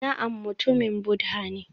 Na'am mutumin Buddha ne